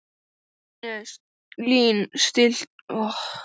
Lín, stilltu tímamælinn á tólf mínútur.